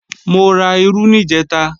Mo ra irú níjẹ̀ta